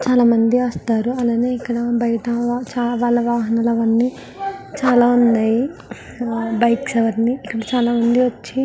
చాలా మంది వస్తారు అలానే ఇక్కడ బయట వాళ్ల వాహనాలన్నీ చాలా ఉన్నాయి బైక్స్ అవన్నీను చాలా మంది వచ్చి --